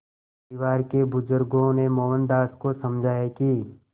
परिवार के बुज़ुर्गों ने मोहनदास को समझाया कि